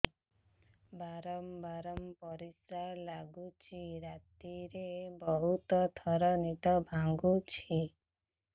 ବାରମ୍ବାର ପରିଶ୍ରା ଲାଗୁଚି ରାତିରେ ବହୁତ ଥର ନିଦ ଭାଙ୍ଗୁଛି